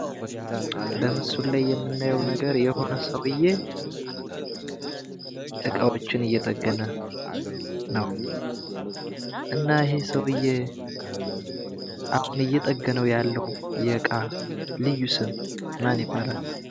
በምስሉ ላይ የምናየው ነገር የሆነ ሰውየ እቃዎችን እየተጠገነ ነው ።እና ይሄ ሰውየ አሁን እየተጠገነ ያለው እቃ ልዩ ስም ማን ይባላል ?